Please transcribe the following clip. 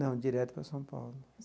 Não, direto para São Paulo.